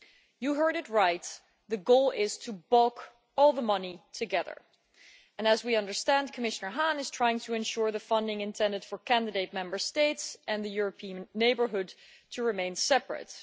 You heard it right the goal is to pool all the money together, and as we understand, Commissioner Hahn is trying to ensure the funding intended for candidate Member States and the European neighbourhood remain separate.